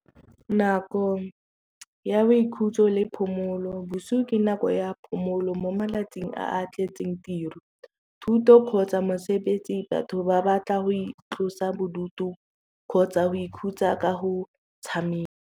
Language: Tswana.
Nako ya boikhutso le phomolo bosio ke nako ya phomolo mo malatsing a a tletseng. Thuto kgotsa mosebetsi batho ba batla go itlosa bodutu kgotsa go ikhutsa ka go tshameka.